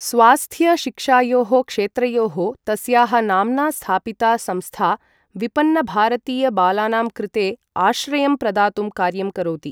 स्वास्थ्य शिक्षायोः क्षेत्रयोः तस्याः नाम्ना स्थापिता संस्था विपन्नभारतीयबालानां कृते आश्रयं प्रदातुं कार्यं करोति।